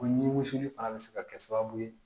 O nimisi fana bɛ se ka kɛ sababu ye